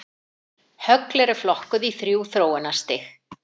Högl eru flokkuð í þrjú þróunarstig.